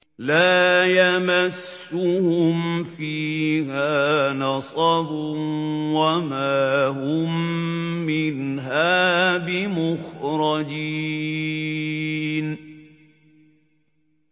لَا يَمَسُّهُمْ فِيهَا نَصَبٌ وَمَا هُم مِّنْهَا بِمُخْرَجِينَ